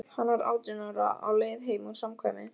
Hann var átján ára, á leið heim úr samkvæmi.